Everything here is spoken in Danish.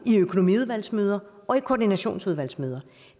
i økonomiudvalgsmøder og i koordinationsudvalgsmøder